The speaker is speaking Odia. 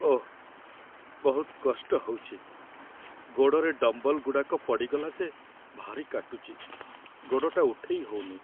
ଓଃ! ବହୁତ କଷ୍ଟ ହଉଚି । ଗୋଡ଼ରେ ଡମ୍ବଲଗୁଡ଼ାକ ପଡ଼ିଗଲା ଯେ ଭାରି କାଟୁଚି । ଗୋଡ଼ଟା ଉଠେଇ ହଉନି ।